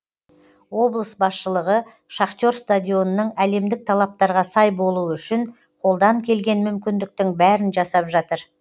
облыс басшылығы шахтер стадионының әлемдік талаптарға сай болуы үшін қолдан келген мүмкіндіктің бәрін жасап жатыр